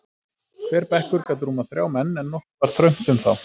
Hver bekkur gat rúmað þrjá menn, en nokkuð var þröngt um þá.